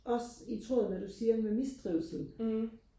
også i tråd med det du siger med mistrivsel